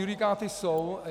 Judikáty jsou.